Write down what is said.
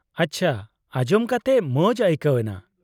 -ᱟᱪᱪᱷᱟ, ᱟᱸᱡᱚᱢ ᱠᱟᱛᱮ ᱢᱚᱡ ᱟᱹᱭᱠᱟᱹᱣᱱᱟ ᱾